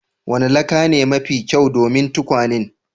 Wanni laka ne mafi kyau domin tukwanen?